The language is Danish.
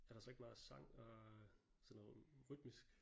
Er der så ikke meget sang og sådan noget rytmisk?